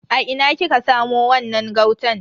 A ina kika samo wannan gautan?